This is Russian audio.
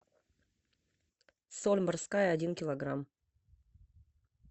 соль морская один килограмм